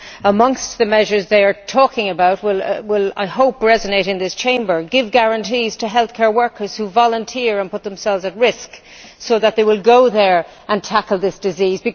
Amongst the measures that they are talking about, one that I hope will resonate in this Chamber is to give guarantees to healthcare workers who volunteer and put themselves at risk, so that they will go there and tackle this disease